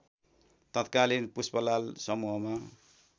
तत्कालीन पुष्पलाल समूहमा